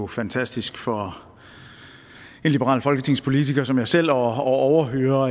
fantastisk for en liberal folketingspolitiker som jeg selv at overhøre